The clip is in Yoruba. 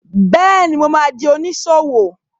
Bẹ́ẹ̀ni, mo ma di oníṣòwò